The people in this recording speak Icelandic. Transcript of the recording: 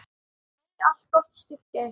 Megi allt gott styrkja ykkur.